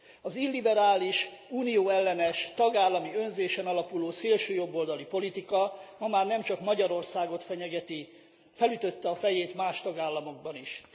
Az illiberális, Unió ellenes, tagállami önzésen alapuló szélső jobboldali politika ma már nem csak Magyarországot fenyegeti, felütötte a fejét más tagállamokban is.